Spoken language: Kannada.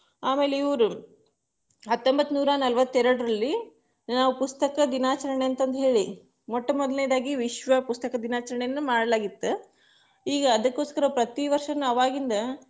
ಆಮೇಲೆ ಇವ್ರು, ಹತ್ತೊಂಬ್ಬತ್ತನೂರ ನಲವತ್ತೆರಡರಲ್ಲಿ, ನಾವು ಪುಸ್ತಕ ದಿನಾಚರಣೆ ಅಂತಂದ್ಹೇಳಿ, ಮೊಟ್ಟ ಮೊದಲನೇದಾಗಿ ವಿಶ್ವ ಪುಸ್ತಕ ದಿನಾಚರಣೆಯನ್ನ ಮಾಡಲಾಗಿತ್ತು, ಈಗ ಅದಕ್ಕೊಸ್ಕರ ಪ್ರತಿ ವರ್ಷನು ಅವಾಗಿಂದ.